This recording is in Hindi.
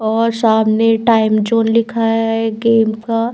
और सामने टाइम जोन लिखा है गेम का।